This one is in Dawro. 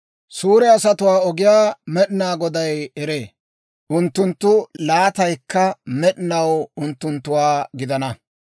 Suure asatuwaa ogiyaa Med'inaa Goday eree; unttunttu laataykka med'inaw unttunttuwaa gidana.